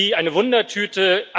Sie eine Wundertüte.